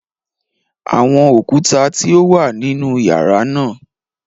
Awọn okuta ti o wa ninu yara naa